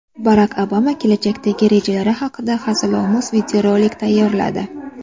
Barak Obama kelajakdagi rejalari haqida hazilomuz videorolik tayyorladi.